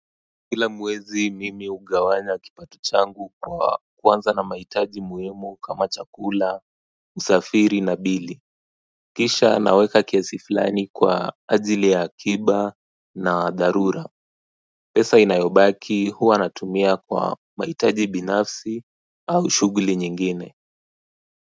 Kila mwezi mimi hugawanya kipato changu kwa kuanza na mahitaji muhimu kama chakula, usafiri na bili kisha naweka kiasi fulani kwa ajili ya akiba na dharura pesa inayobaki huwa natumia kwa mahitaji binafsi au shughuli nyingine.